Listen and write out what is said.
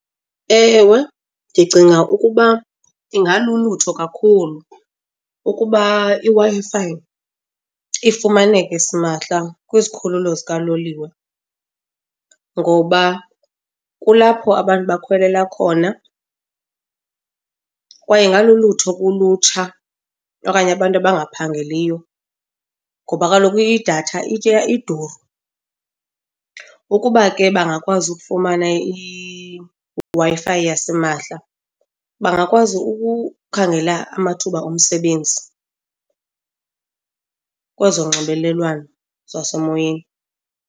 Ewe ndicinga ukuba ingalulutho kakhulu ukuba iWi-Fi ifumaneke simahla kwizikhululo zikaloliwe ngoba kulapho abantu bakhwelela khona kwaye ingalulutho kulutsha okanye abantu abangaphangeliyo. Ngoba kaloku idatha itya, iduru, ukuba ke bangakwazi ukufumana iWi-Fi yasimahla bangakwazi ukukhangela amathuba omsebenzi kwezonxibelelwano zasemoyeni.